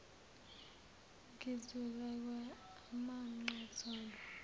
ngizulelwa amanqe zolo